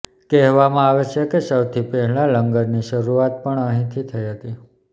કહેવામાં આવે છે કે સૌથી પહેલા લંગરની શરૂઆત પણ અહીં થી થઇ હતી